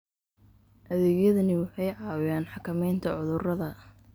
Adeegyadani waxay caawiyaan xakamaynta cudurrada.